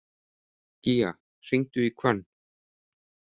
Gía, hringdu í Hvönn.